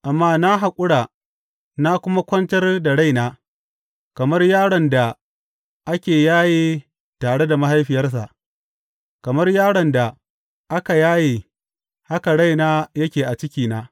Amma na haƙura na kuma kwantar da raina; kamar yaron da aka yaye tare da mahaifiyarsa, kamar yaron da aka yaye haka raina yake a cikina.